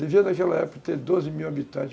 Devia naquela época ter doze mil habitantes.